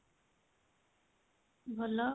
ଭଲ